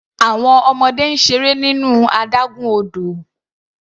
Àwọn ọmọdé ń seré nínú adágún odò.